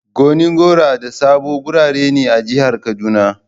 Gonin gora da Sabo garuruwa ne a jihar kaduna.